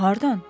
Hardan?